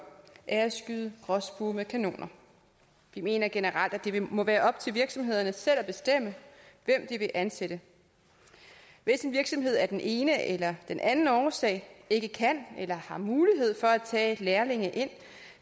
er at skyde gråspurve med kanoner vi mener generelt at det må være op til virksomhederne selv at bestemme hvem de vil ansætte hvis en virksomhed af den ene eller den anden årsag ikke kan eller ikke har mulighed for at tage lærlinge ind